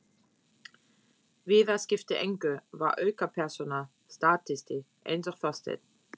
Viðar skipti engu, var aukapersóna, statisti, eins og Þorsteinn.